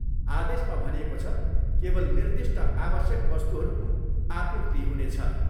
आदेशमा भनिएको छ, केवल निर्दिष्ट आवश्यक वस्तुहरूको आपूर्ति हुनेछ।